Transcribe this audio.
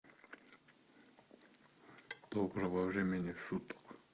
доброго времени суток